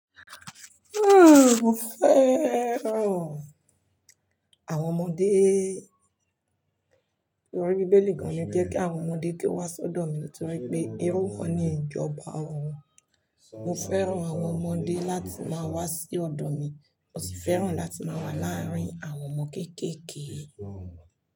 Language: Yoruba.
Mo fẹ́ràn àwọn ọmọdé. Ìrorí Bíbélì gan-an ni jẹ kí àwọn ọmọdé kí ó wá sọ́dọ̀ mi nítorí pé irú wa ni ìjọba ọrun. Mo fẹ́ràn àwọn ọmọdé láti máa wá sí ọ̀dọ̀ mi, mo sì fẹ́ràn láti máa wà láàárín àwọn ọmọ kéékèèké.